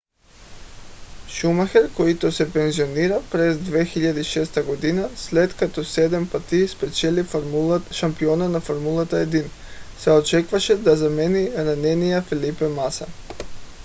шумахер който се пенсионира през 2006 г. след като седем пъти спечели шампионата на формула 1 се очакваше да замени ранения фелипе маса